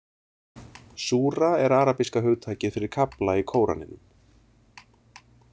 Súra er arabíska hugtakið fyrir kafla í Kóraninum.